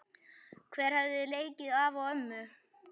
Hver hefði leikið afa og ömmu?